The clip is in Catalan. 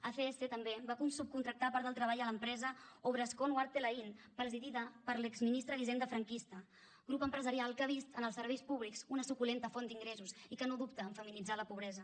acs també va subcontractar part del treball a l’empresa obrascón huarte lain presidida per l’exministre d’hisenda franquista grup empresarial que ha vist en els serveis públics una suculenta font d’ingressos i que no dubta en feminitzar la pobresa